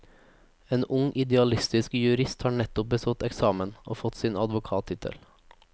En ung, idealistisk jurist har nettopp bestått eksamen og fått sin advokattittel.